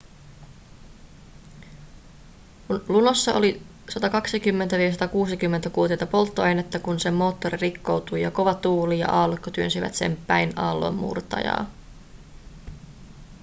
lunossa oli 120-160 kuutiota polttoainetta kun sen moottori rikkoutui ja kova tuuli ja aallokko työnsivät sen päin aallonmurtajaa